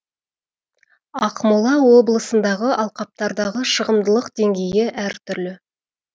ақмола облысындағы алқаптардағы шығымдылық деңгейі әр түрлі